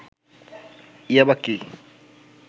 ইয়াবা কি